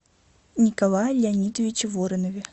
николае леонидовиче воронове